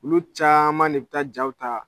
Olu caman de bi ta jaw ta.